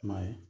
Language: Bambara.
I m'a ye